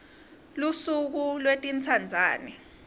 lusuku lwetintsandzane